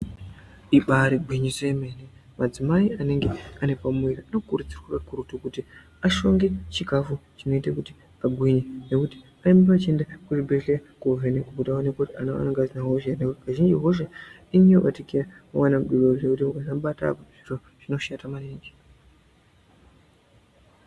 Ibaarigwiniso yemene madzimai anenge ane pamuviri anokurudzirwa kakurutu kuti ashonge chikafu chinoite kuti agwinge. Nekuti arambe vachienda kuzvibhehleya koovhenekwe kuti vaonekwe kuti ana avo anenge asina hosha here nekuti kazhinji hosha inonyanya kubatikira pamwana mudoodori zvekuti ukasamubata apa zviro zvinoshata maningi.